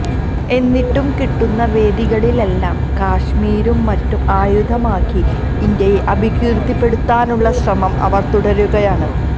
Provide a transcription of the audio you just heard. എന്നിട്ടും കിട്ടുന്ന വേദികളിലെല്ലാം കശ്മിരും മറ്റും ആയുധമാക്കി ഇന്ത്യയെ അപകീര്ത്തിപ്പെടുത്താനുള്ള ശ്രമം അവര് തുടരുകയാണ്